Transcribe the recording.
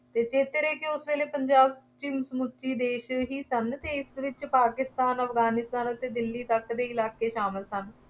ਇਹ ਚੇਤੇ ਰੱਖੀਏ ਕਿ ਉਸ ਵੇਲੇ ਪੰਜਾਬ ਵਿੱਚ ਮੁਸਲੇ ਦੇਸ਼ ਹੀ ਸਨ ਅਤੇ ਇਸ ਵਿੱਚ ਪਾਕਿਸਤਾਨ, ਅਫਗਾਨੀਸਤਾਨ ਅਤੇ ਦਿੱਲੀ ਤੱਕ ਦੇ ਇਲਾਕੇ ਸ਼ਾਮਿਲ ਸਨ।